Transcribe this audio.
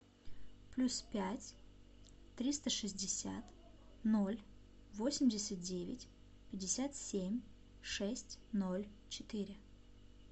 плюс пять триста шестьдесят ноль восемьдесят девять пятьдесят семь шесть ноль четыре